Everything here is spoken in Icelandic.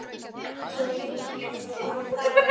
Svo ég megi verða eins og aðrir.